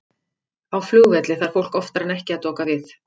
Á flugvelli þarf fólk oftar en ekki að doka við.